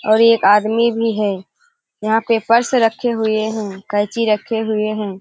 और एक आदमी भी है। यहाँ पे पर्स रखे हुए हैं कैची रखे हुए हैं।